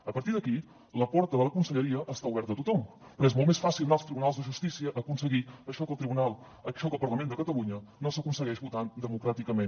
a partir d’aquí la porta de la conselleria està oberta a tothom però és molt més fàcil anar als tribunals de justícia a aconseguir això que al parlament de catalunya no s’aconsegueix votant democràticament